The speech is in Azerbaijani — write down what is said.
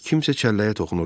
Kimsə çəlləyə toxunurdu.